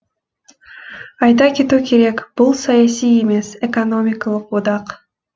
айта кету керек бұл саяси емес экономикалық одақ